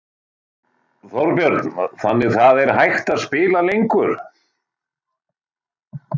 Þorbjörn: Þannig það er hægt að spila lengur?